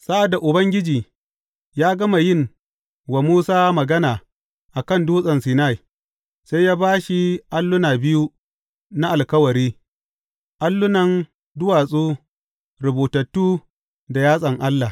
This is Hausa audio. Sa’ad da Ubangiji ya gama yin wa Musa magana a kan Dutsen Sinai, sai ya ba shi alluna biyu na Alkawari, allunan duwatsu rubutattu da yatsan Allah.